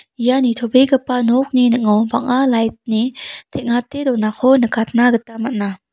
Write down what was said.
ia nitobegipa nokni ning·o bang·a lait ni teng·ate donako nikatna gita man·a.